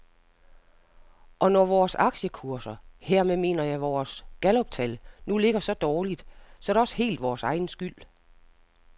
Og når vores aktiekurser, hermed mener jeg vores galluptal, nu ligger så dårligt, er det også helt vores egen skyld.